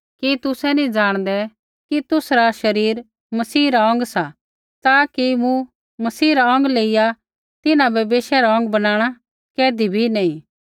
कि तुसै नी जाणदै कि तुसरा शरीर मसीह रा अौंग सा ता कि मूँ मसीह रा अौंग लेईया तिन्हां बै वेश्या रा अौंग बनाणा कैधी भी नैंई